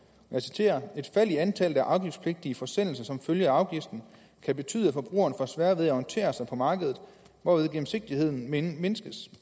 jeg citerer et fald i antallet af afgiftspligtige forsendelser som følge af afgiften kan betyde at forbrugeren får sværere ved at orientere sig på markedet hvorved gennemsigtigheden mindskes